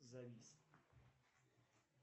завис